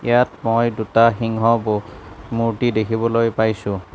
ইয়াত মই দুটা সিংহ ব মূৰ্তি দেখিবলৈ পাইছোঁ।